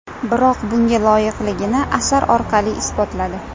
Biroq bunga loyiqligini asar orqali isbotladi.